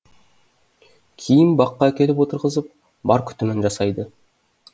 кейін баққа әкеліп отырғызып бар күтімін жасайды